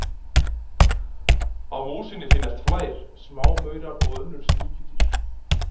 Á músinni finnast flær, smámaurar og önnur sníkjudýr.